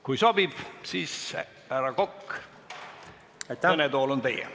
Kui sobib, siis, härra Kokk, kõnetool on teie.